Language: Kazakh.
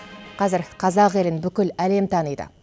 қазір қазақ елін бүкіл әлем таниды